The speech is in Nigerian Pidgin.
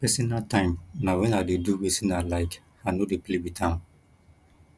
personal time na wen i dey do wetin i like i no dey play wit am